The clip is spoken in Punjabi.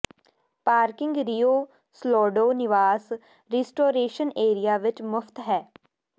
ਪਾਰਕਿੰਗ ਰੀਓ ਸਲੌਡੋ ਨਿਵਾਸ ਰੀਸਟੋਰੇਸ਼ਨ ਏਰੀਆ ਵਿਚ ਮੁਫਤ ਹੈ